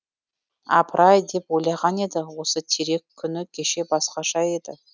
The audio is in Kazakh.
апырай деп ойлаған еді осы терек күні кеше басқаша еді